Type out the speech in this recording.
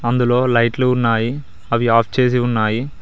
అందులో లైట్లు ఉన్నాయి అవి ఆఫ్ చేసి ఉన్నాయి.